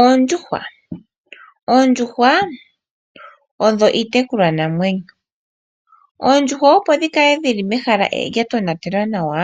Oondjuhwa. Oondjuhwa odho iitekulwa namwenyo, oondjuhwa opo dhi kale dhili mehala lya tonatelwa nawa,